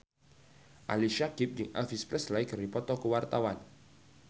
Ali Syakieb jeung Elvis Presley keur dipoto ku wartawan